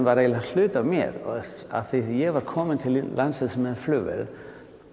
var eiginlega hluti af mér og af því að ég var kominn til landsins með flugvél